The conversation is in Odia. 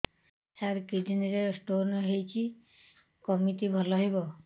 ସାର କିଡ଼ନୀ ରେ ସ୍ଟୋନ୍ ହେଇଛି କମିତି ଭଲ ହେବ